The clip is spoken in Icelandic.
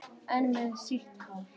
Enn með sítt hár.